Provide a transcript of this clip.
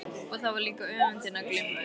Og þar var líka öfundin að glíma við.